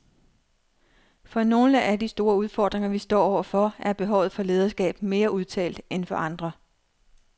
For nogle af de store udfordringer vi står overfor er behovet for lederskab mere udtalt end for andre.